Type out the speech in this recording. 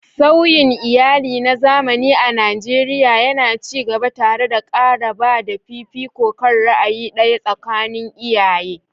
Sauyin iyali na zamani a Najeriya yana ci gaba, tare da ƙara ba da fifiko kan ra'ayi ɗaya tsakanin iyaye.